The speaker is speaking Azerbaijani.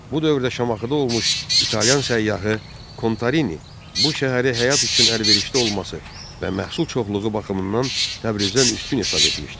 Bu dövrdə Şamaxıda olmuş italyan səyyahı Kontarini bu şəhəri həyat üçün əlverişli olması və məhsul çoxluğu baxımından Təbrizdən üstün hesab etmişdi.